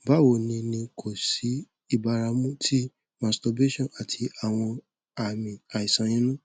bawo ni ni ko si ibaramu ti masturbation ati awọn aami aisan inu